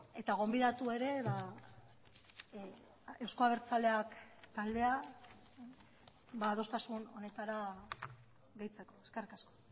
eta gonbidatu ere euzko abertzaleak taldea adostasun honetara gehitzeko eskerrik asko